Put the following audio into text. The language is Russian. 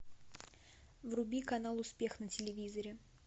вруби канал успех на телевизоре